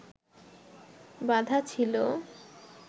বাঁধা ছিল